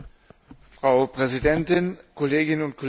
Frau Präsidentin, Kolleginnen und Kollegen!